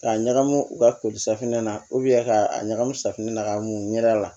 K'a ɲagami u ka ko safunɛ na ka a ɲagamu safunɛ na k'a munu ɲɛ a la